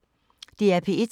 DR P1